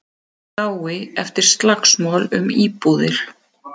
Í dái eftir slagsmál um íbúðir